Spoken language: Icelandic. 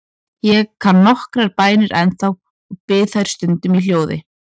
Ég kann nokkrar bænir ennþá og bið þær stundum í hljóði.